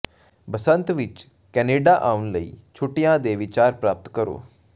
ਬਸੰਤ ਵਿਚ ਕੈਨੇਡਾ ਆਉਣ ਲਈ ਛੁੱਟੀਆਂ ਦੇ ਵਿਚਾਰ ਪ੍ਰਾਪਤ ਕਰੋ